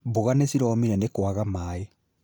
Mboga nĩ ciromire nĩ kwaga maaĩ